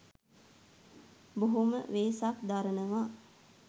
බොහොම වෙහෙසක් දරනවා